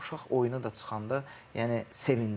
Uşaq oyuna da çıxanda yəni sevindirir.